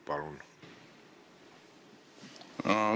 Palun!